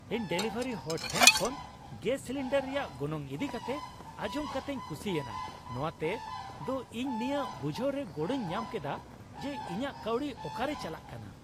ᱤᱧ ᱰᱮᱞᱤᱵᱷᱟᱨᱤ ᱦᱚᱲ ᱴᱷᱮᱱ ᱠᱷᱚᱱ ᱜᱮᱥ ᱥᱤᱞᱤᱱᱰᱟᱨ ᱨᱮᱭᱟᱜ ᱜᱚᱱᱚᱝ ᱤᱫᱤ ᱠᱟᱛᱮᱜ ᱟᱡᱚᱢ ᱠᱟᱛᱮᱧ ᱠᱩᱥᱤᱭᱮᱱᱟ ᱾ ᱱᱚᱶᱟᱛᱮ ᱫᱚ ᱤᱧ ᱱᱤᱭᱟᱹ ᱵᱩᱡᱷᱟᱹᱣ ᱨᱮ ᱜᱚᱲᱚᱧ ᱧᱟᱢ ᱠᱮᱫᱟ ᱡᱮ ᱤᱧᱟᱹᱜ ᱠᱟᱹᱣᱰᱤ ᱚᱠᱟᱨᱮ ᱪᱟᱞᱟᱜ ᱠᱟᱱᱟ ᱾